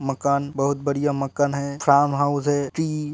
मकान बोहोत बढ़िया मकान है फार्महाउस है --